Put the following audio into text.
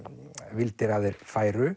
vildir að þeir færu